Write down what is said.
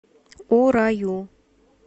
ураю